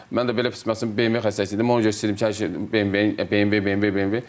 Mən də belə pis məsələn BMW xəstəsi idim, ona görə istəyirdim ki, hər şey BMW, BMW, BMW, BMW.